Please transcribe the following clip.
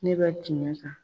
Ne bɛ tiɲɛ kan.